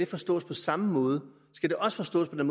forstås på samme måde skal det også forstås på den